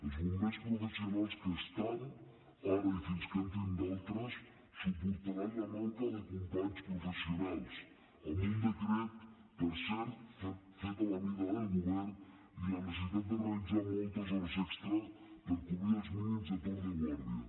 els bombers professionals que hi ha ara i fins que n’entrin d’altres suportaran la manca de companys professionals amb un decret per cert fet a la mida del govern i la necessitat de realitzar moltes hores extra per cobrir els mínims de torn de guàrdia